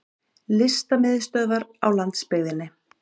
Listamiðstöðvar á landsbyggðinni!